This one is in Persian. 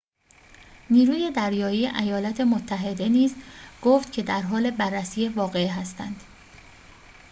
نیروی دریایی ایالات متحده نیز گفت که درحال بررسی واقعه هستند